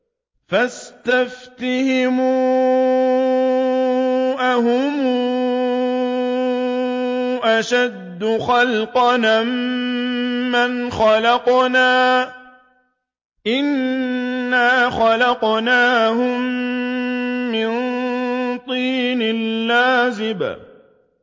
فَاسْتَفْتِهِمْ أَهُمْ أَشَدُّ خَلْقًا أَم مَّنْ خَلَقْنَا ۚ إِنَّا خَلَقْنَاهُم مِّن طِينٍ لَّازِبٍ